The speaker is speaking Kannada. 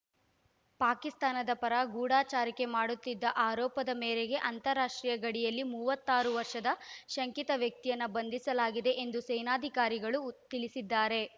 ಪಾಕಿಸ್ತಾನದ ಪರ ಗೂಢಚಾರಿಕೆ ಮಾಡುತ್ತಿದ್ದ ಆರೋಪದ ಮೇರೆಗೆ ಅಂತರರಾಷ್ಟ್ರೀಯ ಗಡಿಯಲ್ಲಿ ಮೂವತ್ತಾರು ವರ್ಷದ ಶಂಕಿತ ವ್ಯಕ್ತಿಯನ್ನು ಬಂಧಿಸಲಾಗಿದೆ ಎಂದು ಸೇನಾಧಿಕಾರಿಗಳು ತಿಳಿಸಿದ್ದಾರೆ